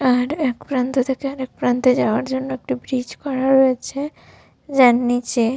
আর একপ্রান্ত থেকে আরেকপ্রান্তে যাওয়ার জন্য একটি ব্রীজ করা হয়েছে। যার নিচে --